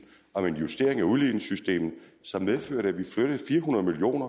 om en justering af udligningssystemet som medførte at vi flyttede fire hundrede million